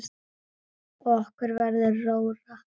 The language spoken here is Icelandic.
Og okkur verður rórra.